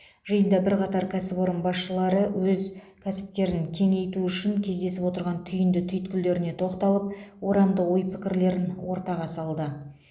жиында бірқатар кәсіпорын басшылары өз кәсіптерін кеңейту үшін кездесіп отырған түйінді түйткілдеріне тоқталып орамды ой пікірлерін ортаға салды